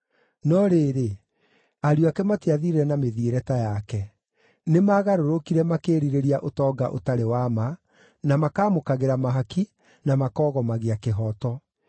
No rĩrĩ, ariũ ake matiathiire na mĩthiĩre ta yake. Nĩmagarũrũkire makĩĩrirĩria ũtonga ũtarĩ wa ma, na makaamũkagĩra mahaki, na makoogomagia kĩhooto.